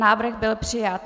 Návrh byl přijat.